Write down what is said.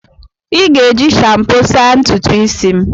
I ga-eji shampo saa ntutu isi m.